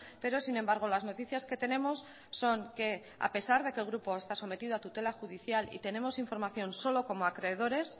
pero sin embargo las noticias que tenemos son que a pesar de que el grupo está sometido a tutela judicial y tenemos información solo como acreedores